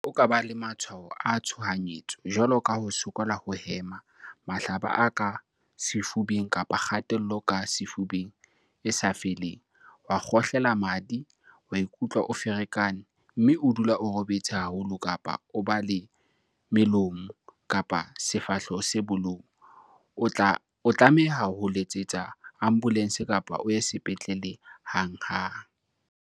Haeba o ka ba le matshwao a tshohanyetso, jwalo ka ho sokola ho hema, mahlaba a ka sefubeng kapa kgatello ka sefubeng e sa feleng, wa kgohlela madi, wa ikutlwa o ferekane, mme o dula o robetse haholo kapa o ba le melomo kapa sefahleho se bolou o tlameha ho letsetsa ambolense kapa o ye sepetlele hanghang.